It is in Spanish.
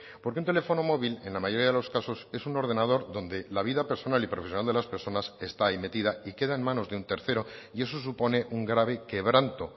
porque un teléfono móvil en la mayoría de los casos es un ordenador donde la vida personal y profesional de las personas está ahí metida y queda en manos de un tercero y eso supone un grave quebranto